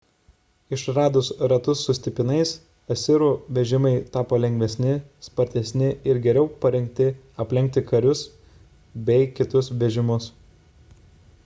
išradus ratus su stipinais asirų vežimai tapo lengvesni spartesni ir geriau parengti aplenkti karius bei kitus vežimus